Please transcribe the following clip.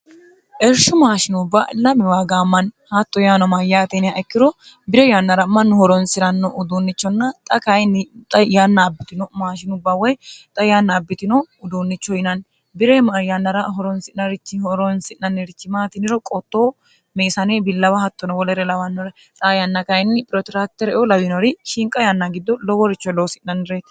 ersho maashinubba lami waagaammanni haatto yaano mayyaateniha ikkiro bire yannara mannu horonsi'ranno uduunnichonna xa kayinni xa yannaabbitino maashinubba woy xa yanna abbitino uduunnicho yinanni biremyannara orosirchihoronsi'nannirichimaatiniro qoottoo meisane billawa hattono wolere lawannore ra yanna kayinni phiroteraktereu lawinori shinqa yanna giddo loworichoh loosi'nannireeti